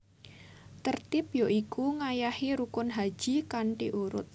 Tertib ya iku ngayahi rukun haji kanthi urut